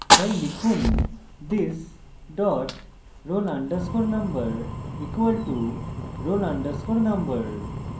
তাই লিখুন this dot roll _ number = roll _ number